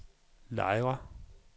Lejre